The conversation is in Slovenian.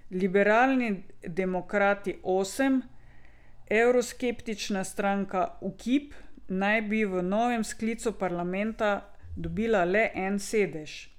Liberalni demokrati osem, evroskeptična stranka Ukip naj bi v novem sklicu parlamenta dobila le en sedež.